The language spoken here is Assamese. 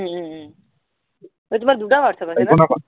অই তোমাৰ দুটা whatsapp আছে